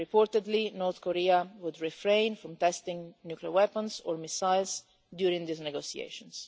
Reportedly, North Korea would refrain from testing nuclear weapons or missiles during these negotiations.